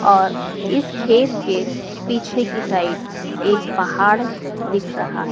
और इस खेत के पीछे की साइड एक पहाड़ दिख रहा--